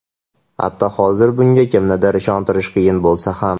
Hatto hozir bunga kimnidir ishontirish qiyin bo‘lsa ham.